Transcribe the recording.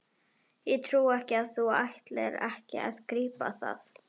Ég trúi ekki að þú ætlir ekki að grípa það!